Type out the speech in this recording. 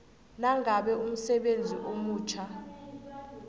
nangabe umsebenzi omutjha